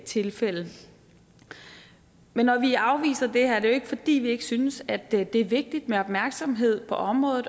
tilfælde men når vi afviser det her er det jo ikke fordi vi ikke synes at det er vigtigt med opmærksomhed på området